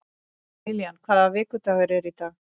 Lillian, hvaða vikudagur er í dag?